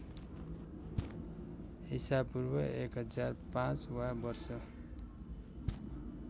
ईपू १००५ वा वर्ष